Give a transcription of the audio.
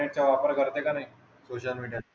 इंटरनेटचा वापर करते का नाही? सोशल मीडियात.